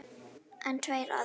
En tveir aðrir